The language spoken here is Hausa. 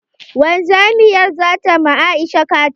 Wanzamiyar zata ma Aisha kaciya.